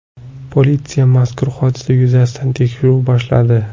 Politsiya mazkur hodisa yuzasidan tekshiruv boshladi.